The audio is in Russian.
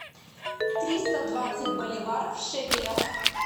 триста двадцать боливар в шекелях